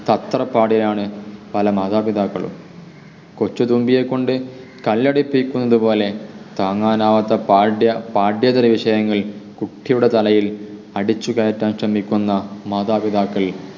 തത്രപ്പാടിലാണ് പല മാതാപിതാക്കളും കൊച്ചു തുമ്പിയെക്കൊണ്ട് കല്ലെടുപ്പിക്കുന്നതു പോലെ താങ്ങാനാവാത്ത പാഠ്യ പഠ്യേതര വിഷയങ്ങൾ കുട്ടിയുടെ തലയിൽ അടിച്ചു കയറ്റാൻ ശ്രമിക്കുന്ന മാതാപിതാക്കൾ